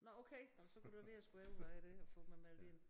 Nåh okay nåh men så kunne det være jeg skulle overveje det og få mig meldt ind